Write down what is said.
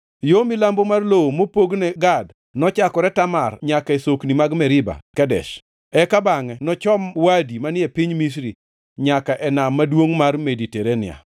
Yo milambo mar lowo mopogne Gad nochakore Tamar nyaka e sokni mag Meriba Kadesh, eka bangʼe nochom Wadi manie piny Misri nyaka e Nam maduongʼ mar Mediterania.